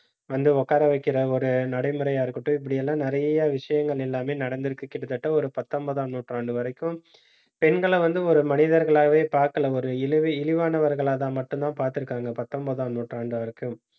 வந்து உட்கார வைக்கிற ஒரு நடைமுறையா இருக்கட்டும். இப்படி எல்லாம் நிறைய விஷயங்கள் எல்லாமே நடந்திருக்கு. கிட்டத்தட்ட ஒரு பத்தொன்பதாம் நூற்றாண்டு வரைக்கும் பெண்களை வந்து ஒரு மனிதர்களாவே, பார்க்கல. ஒரு இழிவு~ இழிவானவர்களாதான், மட்டும்தான் பார்த்திருக்காங்க பத்தொன்பதாம் நூற்றாண்டு